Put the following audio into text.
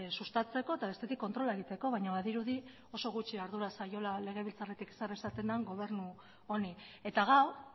sustatzeko eta bestetik kontrola egiteko baina badirudi oso gutxi ardura zaiola legebiltzarretik zer esaten den gobernu honi eta gaur